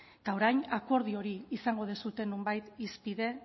eta orain akordio hori izango duzue nonbait hizpide